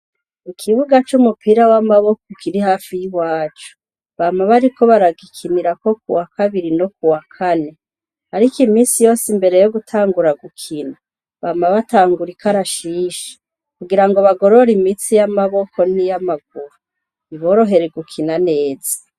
Ikibuga c'umupira w'amaboko kiri hafi y'iwacu. Bama bariko baragikinirako kuwa kabiri no kuwa kane. Ariko iminsi yose imbere yo gutangura gukina bama batangura ikarashishi kugirango bagorore imitsi y'amaboko niy'amaguru biborohere gukina neza.